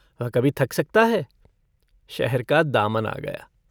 वह कभी थक सकता है। शहर का दामन आ गया।